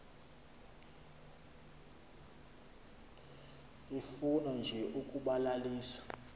ifuna nje ukubalalisa